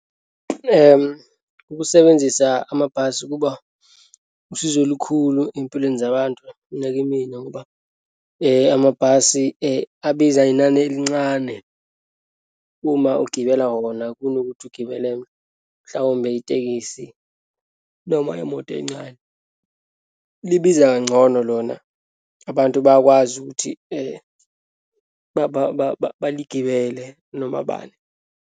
Ukusebenzisa amabhasi kuba usizo olukhulu eyimpilweni zabantu, nakimina ngoba amabhasi abiza inani elincane. Uma ugibela wona kunokuthi ugibele, mhlawumbe itekisi, noma imoto encane. Libiza kangcono lona. Abantu bayakwazi ukuthi baligibele noma bani.